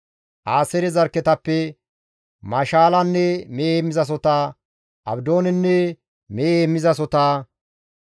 Aaseere zarkketappe Mashaalanne mehe heemmizasohota, Abdoonenne mehe heemmizasohota,